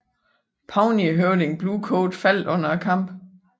Pawneehøvding Blue Coat faldt under kampen